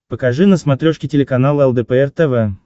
покажи на смотрешке телеканал лдпр тв